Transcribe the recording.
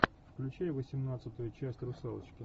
включай восемнадцатую часть русалочки